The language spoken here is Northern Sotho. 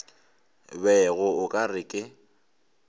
bego o ka re ke